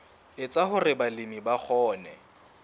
etsa hore balemi ba kgone